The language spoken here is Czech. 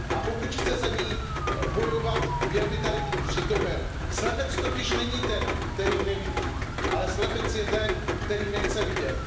A pokud chce za ni bojovat, měl by tady být přítomen. Slepec totiž není ten, který nevidí, ale slepec je ten, který nechce vidět.